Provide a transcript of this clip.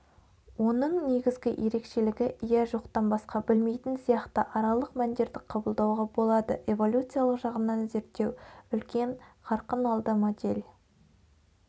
оның негізгі ерекшелігі иә жоқтан басқа білмейтін сияқты аралық мәндерді қабылдауға болады эволюциялық жағынан зерттеу үлкен қарқын алды модель